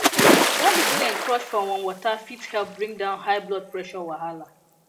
garlic wey dem crush for warm water fit help bring down high blood pressure wahala